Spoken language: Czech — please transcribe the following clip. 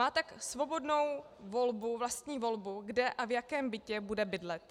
Má tak svobodnou vlastní volbu, kde a v jakém bytě bude bydlet.